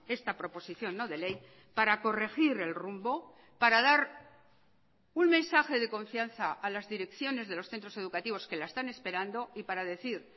esta proposición no de ley para corregir el rumbo para dar un mensaje de confianza a las direcciones de los centros educativos que la están esperando y para decir